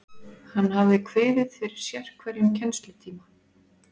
Hann hafði kviðið fyrir sérhverjum kennslutíma.